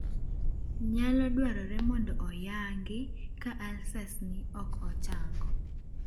Nyalo dwarore mondo oyang'i ka ulcers ni ok ochango